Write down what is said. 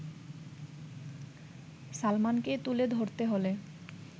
সালমানকে তুলে ধরতে হলে